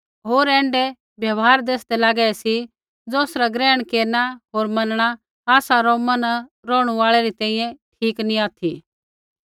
होर ऐण्ढै व्यवहार दैसदै लागै सी ज़ौसरा ग्रहण केरना होर मनणा आसा रोमा न रौहणु आल़ै री तैंईंयैं ठीक नी ऑथि